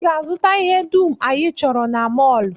I ga-azụta ihe dum anyị chọrọ na mọl!